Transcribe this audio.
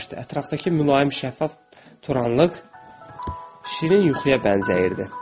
Ətrafdakı mülayim, şəffaf turanlıq şirin yuxuya bənzəyirdi.